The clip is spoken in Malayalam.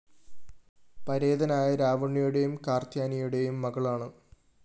പരേതനായ രാവുണ്ണിയുടെയും കാര്‍ത്യായനിയുടെയും മകളാണ്